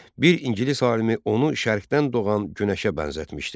Bir ingilis alimi onu Şərqdən doğan günəşə bənzətmişdi.